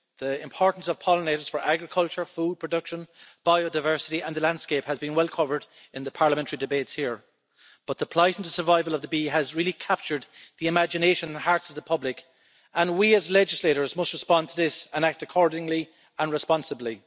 The importance of pollinators for agriculture, food production, biodiversity and the landscape has been well covered in the parliamentary debates here, but the plight and survival of the bee has really captured the imagination and the hearts of the public, and we, as legislators, must respond to this and act accordingly and responsibly.